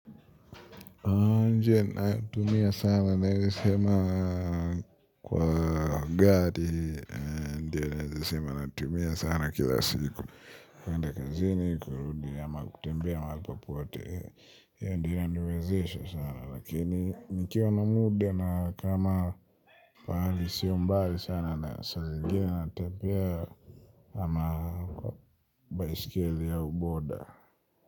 A njia e ninayotumia sana naeza sema kuwaambia ati ndio naeza sema natumia sana kila siku kuenda kazini kurudi ama kutembea mahali popote hiyo ndiyo inaniwezesha sana lakini nikiwa na muda na kama pahali sio mbali sana na saa zingine natembea ama baisikeli au boda.